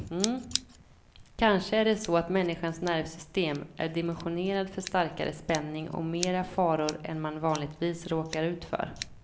Kanske är det så att människans nervsystem är dimensionerat för starkare spänning och mera faror än man vanligtvis råkar ut för.